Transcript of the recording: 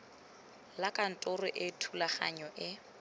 la kantoro e thulaganyo e